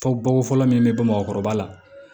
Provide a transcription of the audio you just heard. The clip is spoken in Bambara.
Fɔ bogo fɔlɔ min bɛ bɔ bamakɔkɔrɔba la